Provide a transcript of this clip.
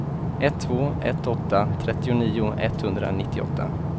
ett två ett åtta trettionio etthundranittioåtta